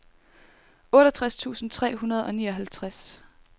otteogtres tusind tre hundrede og nioghalvtreds